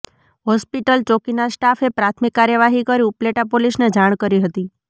hospital ચોકીના સ્ટાફે પ્રાથમિક કાર્યવાહી કરી ઉપલેટા પોલીસને જાણ કરી હતી